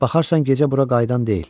Baxarsan gecə bura qayıdan deyil.